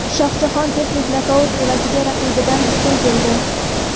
Shohjahon texnik nokaut evaziga raqibidan ustun keldi.